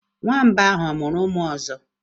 Nwamba ahụ ọ mụrụ ụmụ ọzọ?